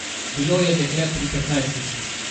Bilo je dekle pri petnajstih.